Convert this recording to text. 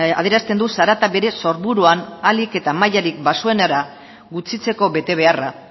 adierazten du zarata bere sorburuan ahalik eta mailarik baxuenera gutxitzeko betebeharra